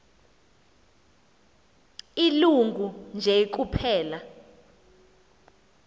ilungu nje kuphela